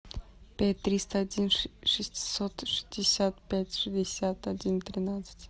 пять триста один шестьсот шестьдесят пять шестьдесят один тринадцать